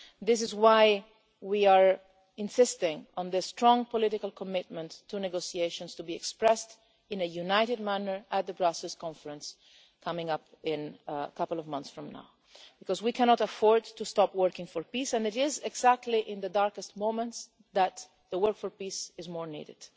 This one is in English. This is why we are insisting on strong political commitment to negotiations to be expressed in a united manner at the Brussels conference coming up in a couple of months from now, because we cannot afford to stop working for peace, and it is exactly in the darkest moments that the work for peace is most needed.